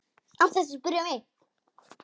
Án þess að spyrja mig?